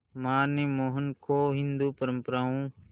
मां ने मोहन को हिंदू परंपराओं